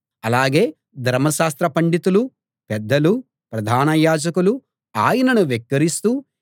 అలాగే ధర్మశాస్త్ర పండితులూ పెద్దలూ ప్రధాన యాజకులూ ఆయనను వెక్కిరిస్తూ